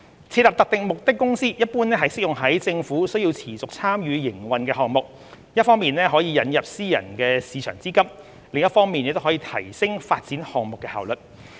設立特定目的公司一般適用於政府須持續參與營運的項目，一方面可引入私人市場資金，另一方面也可提升發展項目的效率。